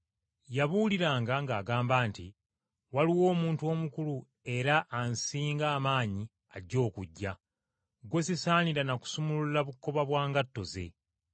Yabuuliranga ng’agamba nti, “Waliwo omuntu omukulu era ansinga amaanyi ajja okujja, gwe sisaanira na kusumulula bukoba bwa ngatto ze.